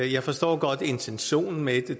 jeg forstår godt intentionen med det